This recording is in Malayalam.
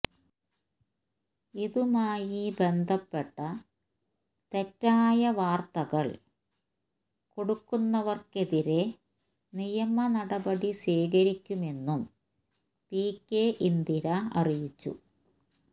ഇതുമായി ബന്ധപ്പെട്ട തെറ്റായ വാർത്തകൾ കൊടുക്കുന്നവർക്കെതിരെ നിയമനടപടി സ്വീകരിക്കുമെന്നും പികെ ഇന്ദിര അറിയിച്ചു